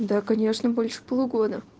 да конечно больше полугода